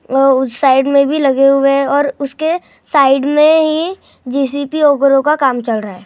उस साइड में भी लगे हुए हैं और उसके साइड में ही जे_सी_बी का काम चल रहा है।